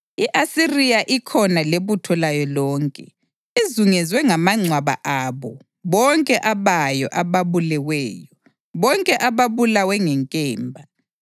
I-Asiriya ikhona lebutho layo lonke; izungezwe ngamangcwaba abo bonke abayo ababuleweyo; bonke ababulawe ngenkemba.